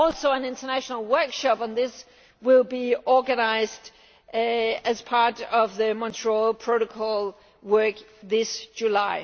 An international workshop on this will also be organised as part of the Montreal Protocol work this July.